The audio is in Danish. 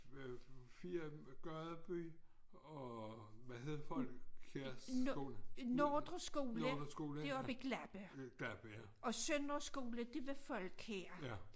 Men 4 af dem Gadeby og hvad hed Folkjærs skole Nordre skole ja Gladberg ja